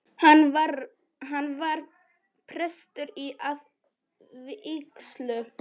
Hann var prestur að vígslu.